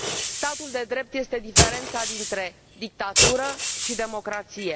Statul de drept este diferența dintre dictatură și democrație.